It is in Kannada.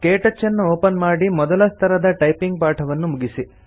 ಕೆಟಚ್ಚನ್ನು ಒಪನ್ ಮಾಡಿ ಮೊದಲ ಸ್ತರದ ಟೈಪಿಂಗ್ ಪಾಠವನ್ನು ಮುಗಿಸಿ